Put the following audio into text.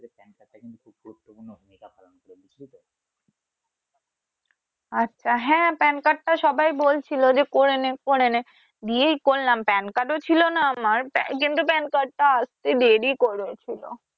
আচ্ছা হ্যা Pan card টা সবাই বলছিলো যে করে নে করে নে দিয়েই করলাম Pan card ও ছিলো না আমার কিন্তু Pan card টা আছে দিয়ে দিয়েই করা ছিলো